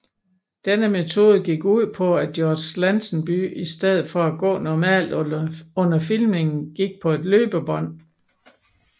Denne metode gik ud på at George Lazenby i stedet for at gå normalt under filmningen gik på et løbebånd